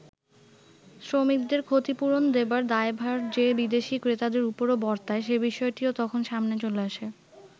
শ্রমিকদের ক্ষতিপূরণ দেবার দায়ভার যে বিদেশি ক্রেতাদের উপরও বর্তায় সে বিষয়টিও তখন সামনে চলে আসে।